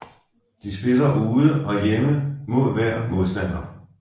De spiller ude og hjemme mod hver modstander